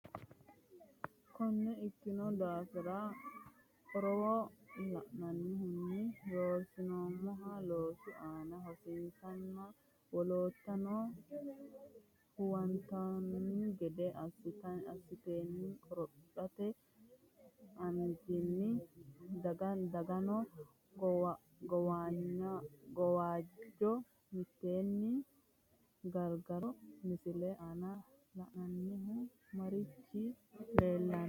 Konne ikkino daafira, qorowo lainohunni ronsoommoha loosu aana hosiisanna wolootuno huwattanno gede assatenni qorophote anjenni dagganno gawajjo mitteenni gargarro, Misile aana la’inannihu maricho leellishanno?